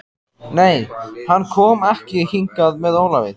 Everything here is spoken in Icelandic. Nei, hann kom ekki hingað með Ólafi.